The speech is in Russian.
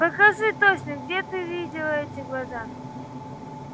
покажи точно где ты видела эти глаза